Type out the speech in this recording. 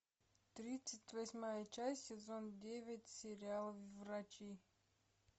тридцать восьмая часть сезон девять сериал врачи